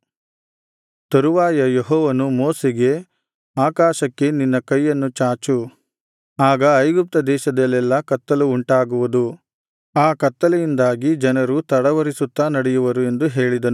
ತರುವಾಯ ಯೆಹೋವನು ಮೋಶೆಗೆ ಆಕಾಶಕ್ಕೆ ನಿನ್ನ ಕೈಯನ್ನು ಚಾಚು ಆಗ ಐಗುಪ್ತ ದೇಶದಲ್ಲೆಲ್ಲಾ ಕತ್ತಲು ಉಂಟಾಗುವುದು ಆ ಕತ್ತಲೆಯಿಂದಾಗಿ ಜನರು ತಡವರಿಸುತ್ತಾ ನಡೆಯುವರು ಎಂದು ಹೇಳಿದನು